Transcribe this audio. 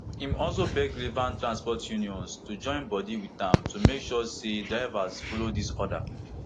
im also beg relevant transport unions to join body wit am to make sure say drivers follow dis order